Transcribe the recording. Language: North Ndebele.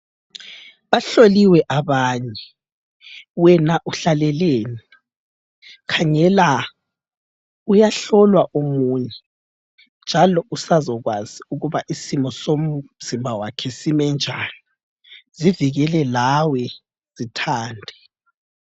Bahloliwe abanye. Wena uhlaleleni? khangela uyahlolwa omunye njalo usazokwazi ukuba isimo somzimba wakhe sime njani. Zivikele lawe zithande.